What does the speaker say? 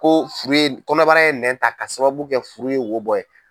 Ko ye furu ye kɔnɔbara ye nɛn ta k'a sababu kɛ furu ye wo bɔ ye.